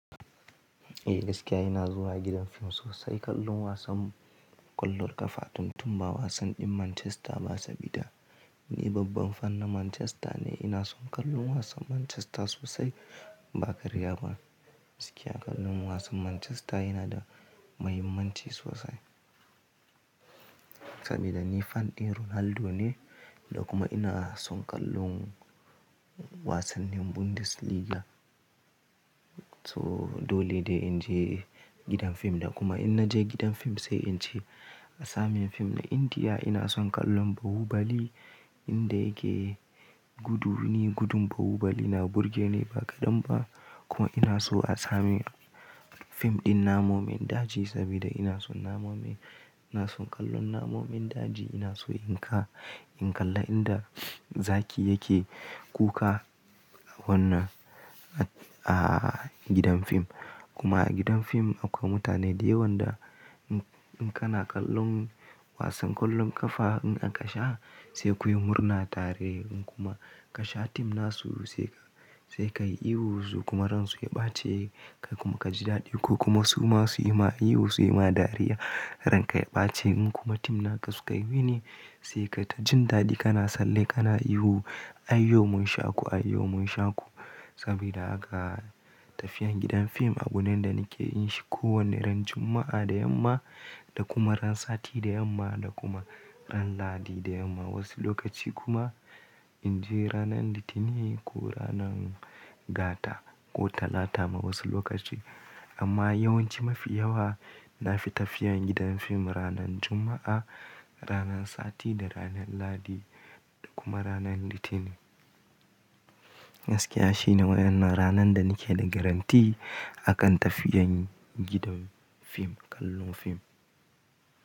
Eh gaskiya ina zuwa gidan fim sosai, kallon wasan ƙwallon ƙafa tun tun ba wasan ɗin Manchester ba, sabida ni babban fan na Manchester ne. Ina son kallon wasan Manchester sosai ba karya ba. Gaskiya kallon wasan Manchester yana da mahimmanci sosai. Sabida ni fan ɗin Ronaldo ne da kuma ina son kallon wasannin Bundes Liga. So dole ne in je gidan fim da kuma in naje gidan fim sai in ce asamin fim na Indiya ina son kallon Bahubali inda yake gudu. Ni gudun Bahubali na burge ni ba kaɗan ba. Kuma ina so asamin fim ɗin namun daji sabida ina son namun, ina son kallon namun daji. Ina so in ƙalla inda zaki yake kuka wannan a gidan fim. Kuma a gidan film akwai mutane da yawan da ina kana kallon wasan kwallon kafa, in aka sha sai kuyi murna tare in kuma kasha team nasu sai sai ka yi ihu zuƙa maran su ya ɓace kai kuma ka ji daɗi ko kuma su ma su yi ma ihu su yi ma dariya ran ka ya ɓace. In kuma tim naka suka yi gini sai ka ta jin daɗi kana sallah kana ihu "ai yau mun sha ku, ai yau mun sha ku". Sabida haka tafiyan gidan fim abu ne da nake yin shi kowane ran Juma'a da yamma da kuma ran Sati da yamma da kuma ran Ladi da yamma. Wasu lokaci kuma in je ranan Litinin ko ranan Gata ko Talata ma wasu lokaci. Amma yawanci mafi yawa na fi tafiyan gidan fim ranan Juma'a, ranan Sati da ranan Lahadi da kuma ranan Litinin. Gaskiya shine wannan ranan da nake da garanti akan tafiyan gidan fim, kallon fim.